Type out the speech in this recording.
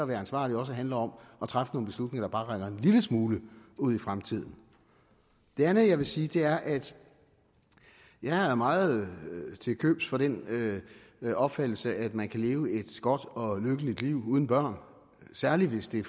være ansvarlig også handler om at træffe nogle beslutninger der bare rækker en lille smule ud i fremtiden det andet jeg vil sige er at jeg er meget til købs for den den opfattelse at man kan leve et godt og lykkeligt liv uden børn særlig hvis det